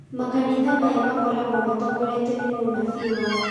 makanitha maya makoragwo matongoretio nĩ mũnabii wao